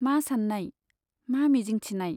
मा सान्नाय , मा मिजिंथिनाय ?